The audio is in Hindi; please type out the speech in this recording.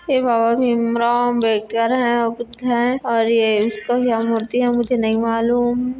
यह बाबा भीमराव अंबेडकर है और बुद्ध हैं और ये किसकी मूर्ति है मुझे नहीं मालूम --